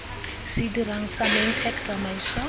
se dirang sa mintech tsamaiso